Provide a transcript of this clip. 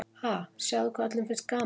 Ha, sjáðu hvað öllum finnst gaman.